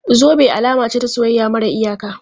Zube alama ce ta soyayya mara iyaka.